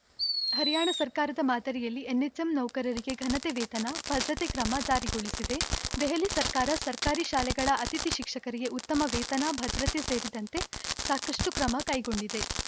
ಹರಿಯಾಣ ಸರ್ಕಾರದ ಮಾದರಿಯಲ್ಲಿ ಎನ್‌ಎಚ್‌ಎಂ ನೌಕರರಿಗೆ ಘನತೆ ವೇತನ ಭದ್ರತೆ ಕ್ರಮ ಜಾರಿಗೊಳಿಸಿದೆ ದೆಹಲಿ ಸರ್ಕಾರ ಸರ್ಕಾರಿ ಶಾಲೆಗಳ ಅತಿಥಿ ಶಿಕ್ಷಕರಿಗೆ ಉತ್ತಮ ವೇತನ ಭದ್ರತೆ ಸೇರಿದಂತೆ ಸಾಕಷ್ಟುಕ್ರಮ ಕೈಗೊಂಡಿದೆ